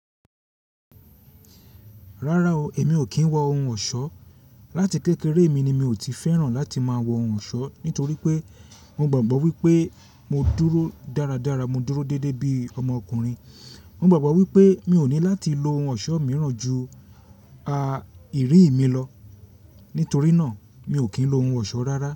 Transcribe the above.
Rárá o, èmi ò kí ń wọ ohun ọ̀ṣọ́. Lati kékeré mi ni mi ò tí fẹ́ràn láti máa wọ ohun ọ̀ṣọ́ nítorí pé mo gbàgbọ́ wípé mo dúró dáradára, mo dúró dédé bíi ọmọkùnrin. Mo gbàgbọ́ wípé mi ò ní láti lo ohun ọ̀ṣọ́ mìíràn ju a ìrí mi lọ nítorí náà mi ò kí ń lo ohun ọ̀ṣọ́ rárá.